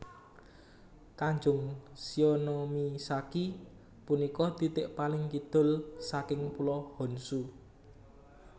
Tanjung Shionomisaki punika titik paling kidul saking Pulo Honshu